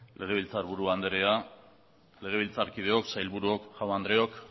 legebiltzarburu anderea legebiltzarkideok sailburuok jaun andreok